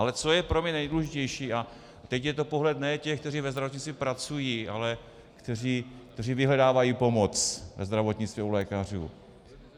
Ale co je pro mě nejdůležitější, a teď je to pohled ne těch, kteří ve zdravotnictví pracují, ale kteří vyhledávají pomoc ve zdravotnictví, u lékařů.